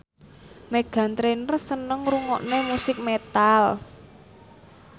Meghan Trainor seneng ngrungokne musik metal